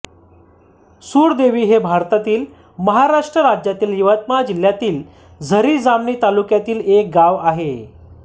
सुरदेवी हे भारतातील महाराष्ट्र राज्यातील यवतमाळ जिल्ह्यातील झरी जामणी तालुक्यातील एक गाव आहे